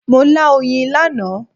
Mo lá oyin lánàá.